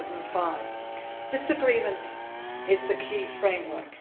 in 2005. This agreement is the key framework.